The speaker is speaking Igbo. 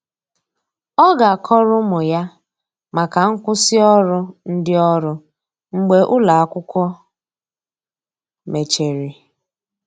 Ọ ga akọrọ ụmụ ya maka nkwụsi ọrụ ndi ọrụ mgbe ụlọ akwụkwo mecheri.